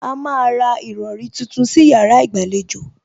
A má a ra ìrọrí tuntun sí yàrá ìgbàlejò